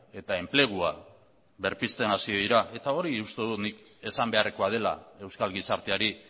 eta enplegua berpizten hasi dira eta hori uste dut nik esan beharrekoa dela euskal gizarteari